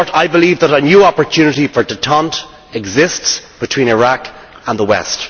In short, I believe that a new opportunity for détente exists between Iraq and the West.